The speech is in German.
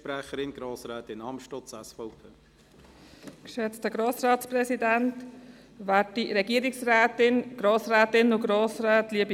Sie müssen sich einfach an unsere Gepflogenheiten halten und dann ist das überall möglich.